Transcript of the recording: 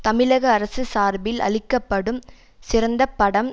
தமிழக அரசு சார்பில் அளிக்க படும் சிறந்தப் படம்